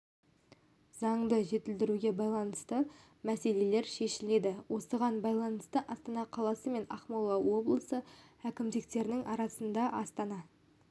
заңды жетілдіруге байланысты мәселелер шешіледі осыған байланысты астана қаласы мен ақмола облысы әкімдіктерінің арасында астана